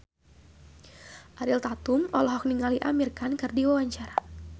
Ariel Tatum olohok ningali Amir Khan keur diwawancara